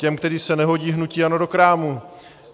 Těch, kteří se nehodí hnutí ANO do krámu.